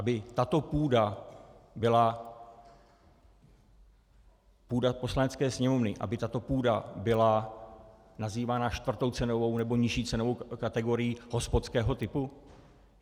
Aby tato půda byla, půda Poslanecké sněmovny, aby tato půda byla nazývána čtvrtou cenovou nebo nižší cenovou kategorií hospodského typu?